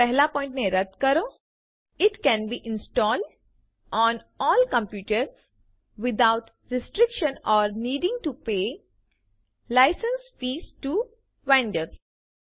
પહેલા પોઈન્ટ ને રદ્દ કરો it can be installed on all computers without restriction or needing to pay licence fees to vendors